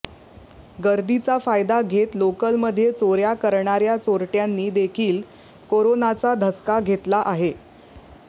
गर्दीचा फायदा घेत लोकलमध्ये चोऱ्या करणाऱ्या चोरट्यांनी देखील कोरोनाचा धसका घेतला आहे